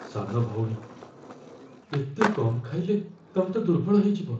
ସାନ ଭଉଣୀ, ଏତେ କମ୍ ଖାଇଲେ, ତମେ ତ ଦୁର୍ବଳ ହେଇଯିବ ।